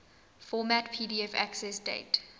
format pdf accessdate